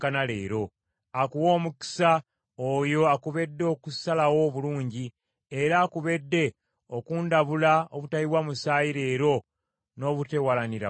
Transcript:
Akuwe omukisa oyo akubedde okusalawo obulungi, era akubedde okundabula obutayiwa musaayi leero n’obuteewalanira ggwanga.